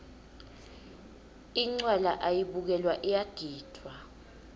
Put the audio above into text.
incwala ayibukelwa iyagidvwa